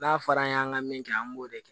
N'a fɔra an ye an ka min kɛ an b'o de kɛ